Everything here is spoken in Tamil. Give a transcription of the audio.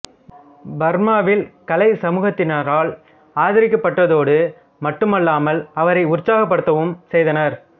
பர்மா வில் கலை சமூகத்தினரால் ஆதரிக்கப்பட்டதோடு மட்டுமல்லாமல் அவரை உற்சாகப்படுத்தவும் செய்தனர்